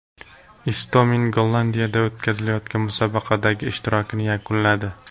Istomin Gollandiyada o‘tkazilayotgan musobaqadagi ishtirokini yakunladi.